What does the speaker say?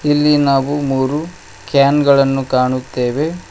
ಇಲ್ಲಿ ನಾವು ಮೂರು ಕ್ಯಾನ್ ಗಳನ್ನು ಕಾಣುತ್ತೇವೆ.